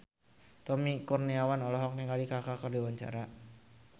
Tommy Kurniawan olohok ningali Kaka keur diwawancara